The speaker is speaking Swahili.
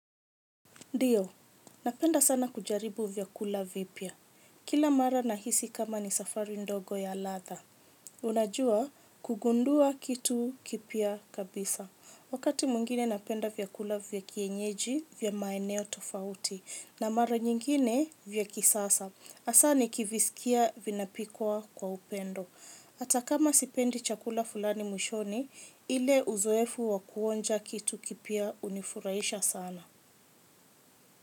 Ndiyo, napenda sana kujaribu vyakula vipya. Kila mara nahisi kama ni safari ndogo ya ladha. Unajua, kugundua kitu kipya kabisa. Wakati mwengine napenda vyakula vya kienyeji vya maeneo tofauti, na mara nyingine vya kisasa. Hasa nikivisikia vinapikwa kwa upendo. Hata kama sipendi chakula fulani mwishoni, ile uzoefu wa kuonja kitu kipya hunifuraisha sana.